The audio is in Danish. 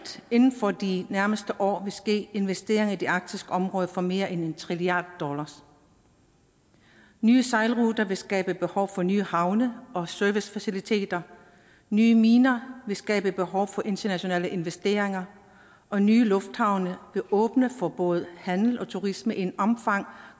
inden for de nærmeste år vil ske investeringer i det arktiske område for mere end en trilliard dollars nye sejlruter vil skabe behov for nye havne og servicefaciliteter nye miner vil skabe behov for internationale investeringer og nye lufthavne vil åbne for både handel og turisme i et omfang